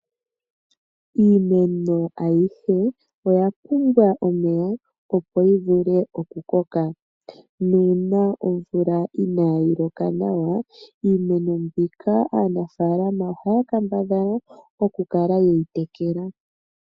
Iimeno ayihe oya pumbwa omeya opo yi vule okukoka nuuna omvula inaayi loka nawa iimeno mbika aanafaalama ohaya kambadhala okukala ye yi tekela.